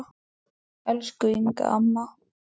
Elsku Inga amma.